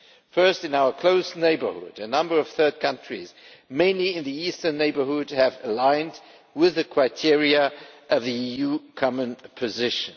Firstly, in our close neighbourhood, a number of third countries mainly in the eastern neighbourhood have aligned with the criteria of the EU common position.